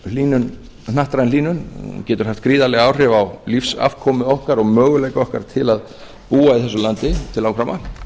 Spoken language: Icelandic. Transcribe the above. getur hnattræn hlýnun haft gríðarleg áhrif á lífsafkomu okkar og möguleika okkar til þess að búa í þessu landi til langframa